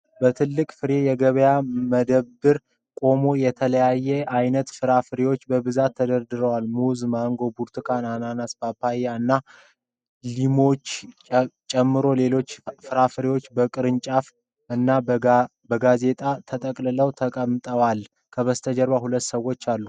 በትልቁ ፍሬ የገበያ መደብ ቆሞ የተለያየ ዓይነት ፍራፍሬዎች በብዛት ተደርድረዋል። ሙዝ፣ ማንጎ፣ ብርቱካን፣ አናናስ፣ ፓፓያ እና ሊሞችን ጨምሮ ሌሎች ፍራፍሬዎችም በቅርጫቶች እና በጋዜጣ ተጠቅልለው ተቀምጠዋል። ከበስተጀርባ ሁለት ሰዎች አሉ።